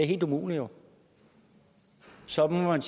helt umuligt så må man